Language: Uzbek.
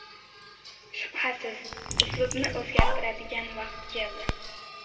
Shubhasiz, uslubni o‘zgartiradigan vaqt keldi.